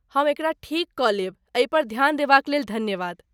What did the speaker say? हम एकरा ठीक कऽ लेब, एहि पर ध्यान देबाक लेल धन्यवाद।